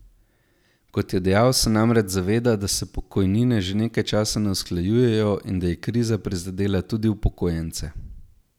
Kot je dejal, se namreč zaveda, da se pokojnine že nekaj časa ne usklajujejo in da je kriza prizadela tudi upokojence.